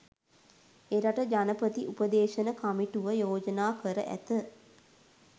එරට ජනපති උපදේශන කමිටුව යෝජනා කර ඇත